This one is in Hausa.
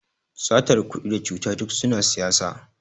satar kudi da cuta duk suna siyasa